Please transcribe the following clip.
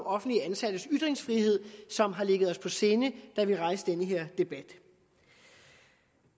offentligt ansattes ytringsfrihed som har ligget os på sinde da vi rejste den her debat